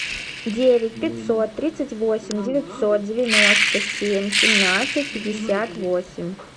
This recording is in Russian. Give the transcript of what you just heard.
девять пятьсот тридцать восемь девятьсот девяносто семь семнадцать пятьдесят восемь